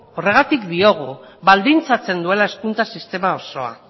horregatik diogu baldintzatzen duela hezkuntza sistema osoa